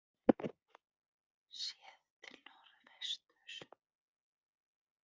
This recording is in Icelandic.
Séð til norðvesturs.